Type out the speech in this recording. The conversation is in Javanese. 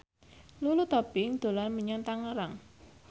Lulu Tobing dolan menyang Tangerang